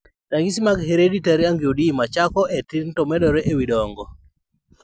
Ranyisi mag Hereditary angioedema chako e tin tomedore e wi dongo